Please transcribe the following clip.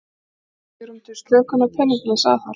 Enn svigrúm til slökunar peningalegs aðhalds